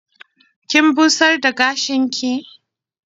Kin busar da gashinki?